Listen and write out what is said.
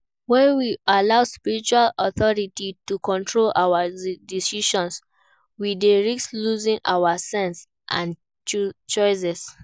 When we allow spiritual authority to control our decisions, we dey risk losing our sense and choices.